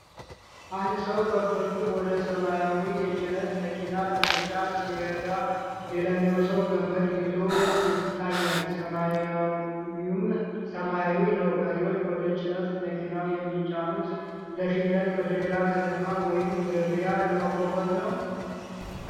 አንድ ሰው ከብቶቹን ወደ ሰማያዊው የጭነት መኪና ለመጫን ሲረዳ፣ ሌላኛው ሰው ገመድ ይዞ ይታያል፣ ሰማዩም ሰማያዊ ነው፡፡ በሬዎቹ ወደ ጭነት መኪናው የሚጫኑት ለሽያጭ ወደ ሌላ ከተማ ወይም ገበያ ለማጓጓዝ ነው?